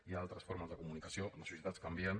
hi ha altres formes de comunicació les societats canvien